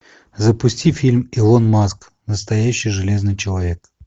запусти фильм илон маск настоящий железный человек